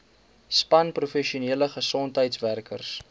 span professionele gesondheidswerkers